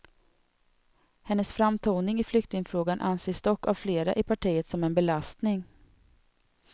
Hennes framtoning i flyktingfrågan anses dock av flera i partiet som en belastning.